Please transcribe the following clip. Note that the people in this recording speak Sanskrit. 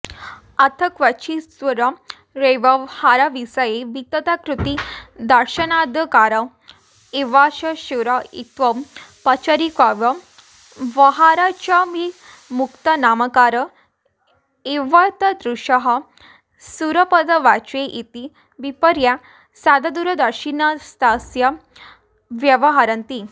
अथ क्वचिच्छूरव्यवहारविषये वितताकृतिदर्शनादाकार एवास्य शूर इत्यौ पचारिकव्यवहाराच्चाभियुक्तानामाकार एवैतादृशः शूरपदवाच्य इति विपर्या साददूरदर्शिनस्तथा व्यवहरन्ति